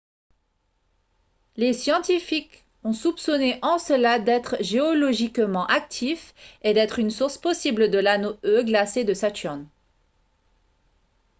les scientifiques ont soupçonné encelade d'être géologiquement actif et d'être une source possible de l'anneau e glacé de saturne